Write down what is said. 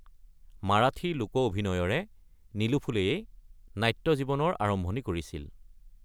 মাৰাঠী লোক অভিনয়ৰে নীলু ফুলে-এ নাট্য জীৱনৰ আৰম্ভণি কৰিছিল।